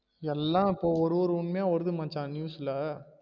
எல்லா இப்போ ஒரு ஒரு உண்மையா வருது மச்சா news ல